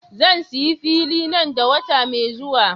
Zan sayi fili nan da wata mai zuwa.